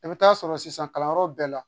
I bɛ taa sɔrɔ sisan kalanyɔrɔ bɛɛ la